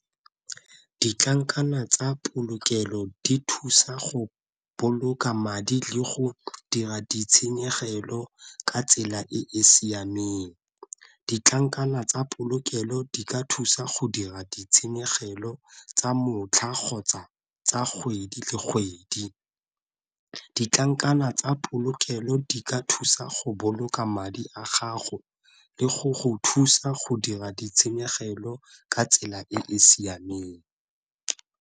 Ditlankana tsa polokelo di thusa go boloka madi le go dira ditshenyegelo ka tsela e e siameng. Ditlankana tsa polokelo di ka thusa go dira ditshenyegelo tsa motlha kgotsa tsa kgwedi le kgwedi. Ditlankana tsa polokelo di ka thusa go boloka madi a gago le go go thusa go dira ditshenyegelo ka tsela e e siameng.